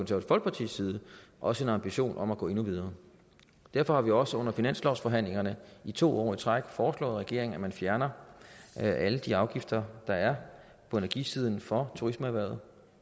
folkepartis side også en ambition om at gå endnu videre derfor har vi også under finanslovsforhandlingerne to år i træk foreslået regeringen at man fjerner alle de afgifter der er på energisiden for turismeerhvervet